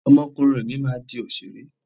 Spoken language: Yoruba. Ọmọ ọkùnrin mi máa di òṣèré.